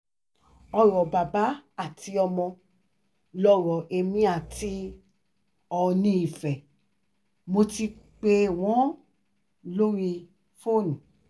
ọ̀rọ̀ bàbá àtọmọ lọ̀rọ̀ èmi àti oòní ife mo ti pè wọ́n lórí fóònù